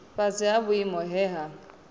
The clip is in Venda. fhasi ha vhuimo he ha